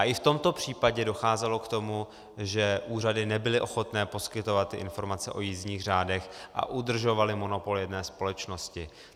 A i v tomto případě docházelo k tomu, že úřady nebyly ochotné poskytovat informace o jízdních řádech a udržovaly monopol jedné společnosti.